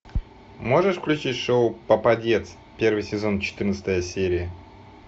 можешь включить шоу попадец первый сезон четырнадцатая серия